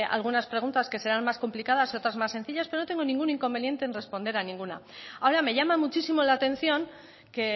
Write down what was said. algunas preguntas que serán más complicadas y otras más sencillas pero no tengo ningún inconveniente en responder a ninguna ahora me llama muchísimo la atención que